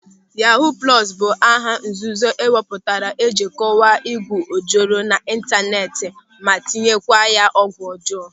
Yahuu plọsu bụ aha nzuzo e wepụtara iji kọwaa ịgwu ojoro n'ịntaneti ma tinyekwa ya ọgwụ ọjọọ.